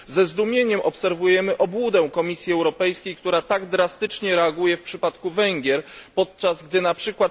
Ze zdumieniem obserwujemy obłudę Komisji Europejskiej, która tak drastycznie reaguje w przypadku Węgier, podczas gdy np.